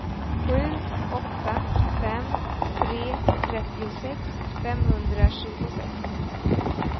sju åtta fem tre trettiosex femhundratjugosex